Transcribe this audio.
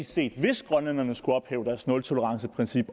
set hvis grønlænderne skulle ophæve deres nultoleranceprincip